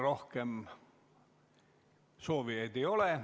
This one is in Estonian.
Rohkem soovijaid ei ole.